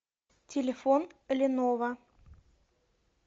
телефон леново